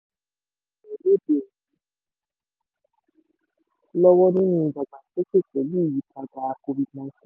àwọn èèyàn lóde òní lọ́wọ́ nínú ìdàgbàsókè pẹ̀lú ìyípadà covid nineteen.